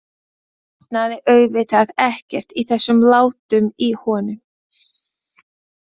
Botnaði auðvitað ekkert í þessum látum í honum.